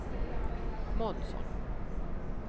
Månsson